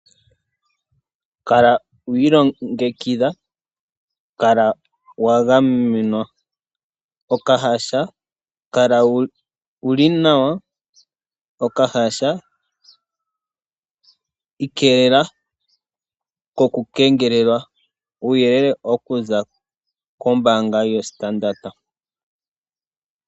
Kala wiilongekidha, kala wagamenwa, okahasha, kala wuli nawa, okahasha, iikelela ko kungelelwa. Uuyele mbuka owaza koombanga ya Standard.